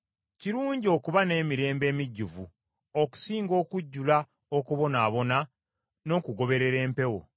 Kirungi okuba n’emirembe emijjuvu okusinga okujjula okubonaabona n’okugoberera empewo.